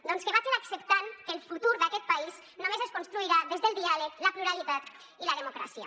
doncs que vagin acceptant que el futur d’aquest país només es construirà des del diàleg la pluralitat i la democràcia